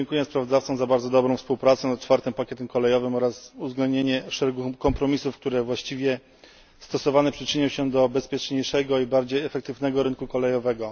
Serdecznie dziękuję sprawozdawcom za bardzo dobrą współpracę nad IV Pakietem Kolejowym oraz uwzględnienie szeregu kompromisów, które, właściwie stosowane, przyczynią się do bezpieczniejszego i bardziej efektywnego rynku kolejowego.